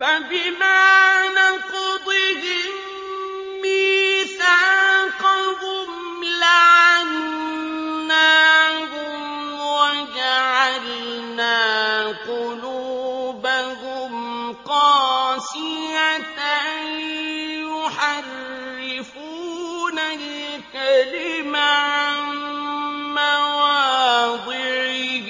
فَبِمَا نَقْضِهِم مِّيثَاقَهُمْ لَعَنَّاهُمْ وَجَعَلْنَا قُلُوبَهُمْ قَاسِيَةً ۖ يُحَرِّفُونَ الْكَلِمَ عَن مَّوَاضِعِهِ ۙ